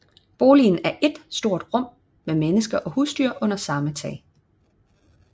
Boligen er ét stort rum med mennesker og husdyr under samme tag